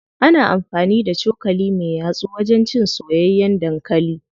Ana amfani da cokali me yatsu wajen cin soyayyen dankali.